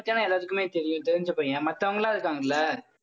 இவனை பத்திதானே எல்லாத்துக்குமே தெரியும். தெரிஞ்ச பையன் மத்தவங்கெல்லாம் இருக்காங்கல்ல?